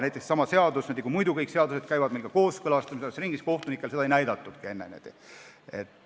Näiteks, kõik seadused käivad kooskõlastusringil, aga seda seadust kohtunikele enne ei näidatudki.